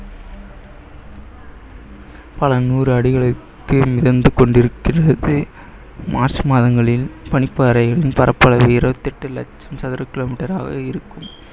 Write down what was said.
பல நூறு அடிகளுக்கு மிதந்து கொண்டிருக்கிறது மார்ச் மாதங்களில் பனிப்பாறையயின் பரப்பளவு இருபத்தி எட்டு லட்சம் சதுர kilometer ஆக இருக்கும்